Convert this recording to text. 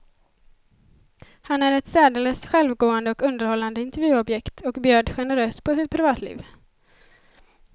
Han är ett särdeles självgående och underhållande intervjuobjekt, och bjöd generöst på sitt privatliv.